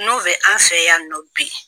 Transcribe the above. N'o bɛ an fɛ yan nɔ bi.